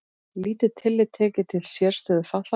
Lítið tillit tekið til sérstöðu fatlaðra